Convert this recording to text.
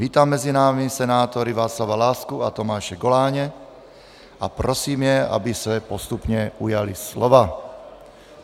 Vítám mezi námi senátory Václava Lásku a Tomáše Goláně a prosím je, aby se postupně ujali slova.